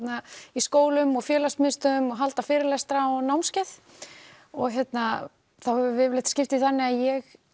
í skólum og félagsmiðstöðvum og halda fyrirlestra og námskeið þá höfum við yfirleitt skipt því þannig að ég